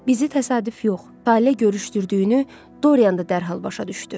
Bizi təsadüf yox, tale görüşdürdüyünü Dorian da dərhal başa düşdü.